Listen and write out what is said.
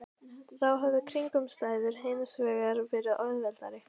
Þá höfðu kringumstæðurnar hins vegar verið auðveldari.